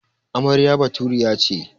Amarya Baturiya ce.